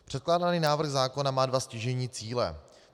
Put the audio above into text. Předkládaný návrh zákona má dva stěžejní cíle.